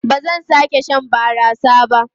Ba zan sake shan barasa ba.